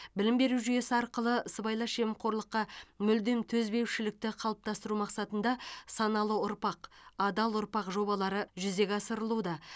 білім беру жүйесі арқылы сыбайлас жемқорлыққа мүлдем төзбеушілікті қалыптастыру мақсатында саналы ұрпақ адал ұрпақ жобалары жүзеге асырылуда